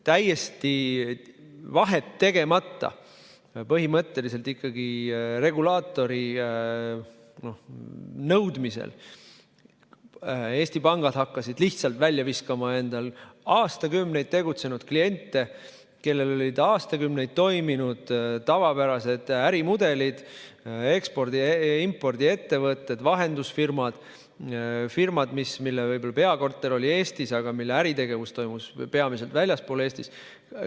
Täiesti vahet tegemata, põhimõtteliselt regulaatori nõudmisel, hakkasid Eesti pangad lihtsalt välja viskama oma aastakümneid tegutsenud kliente, kellel olid aastakümneid toiminud tavapärased ärimudelid – ekspordi- ja impordiettevõtted, vahendusfirmad, firmad, mille peakorter oli Eestis, aga mille äritegevus toimus peamiselt väljaspool Eestit.